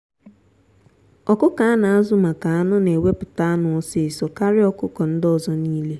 ọkụkọ a na-azu maka anụ na eweputa anụ ọsịsọ karịa ọkụkọ ndị ọzọ n'ile.